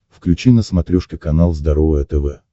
включи на смотрешке канал здоровое тв